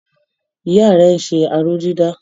Ìyá rẹ ń ṣe aró-dídà.